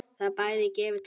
Það bæði gefur og tekur.